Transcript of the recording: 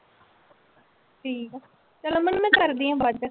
ਠੀਕ ਆ, ਚੱਲ ਅਮਨ ਮੈਂ ਕਰਦੀ ਹਾਂ ਬਾਅਦ ਚ।